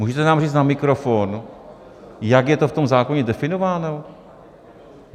Můžete nám říct na mikrofon, jak je to v tom zákoně definováno?